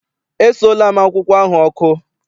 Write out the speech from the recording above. Esuola m akwụkwọ ahụ ọkụ.